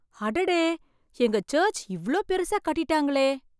அடடே! எங்க சர்ச் இவ்ளோ பெருசா கட்டிடாங்களே!